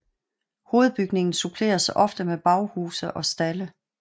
Hovedbygningen suppleres ofte med baghuse og stalde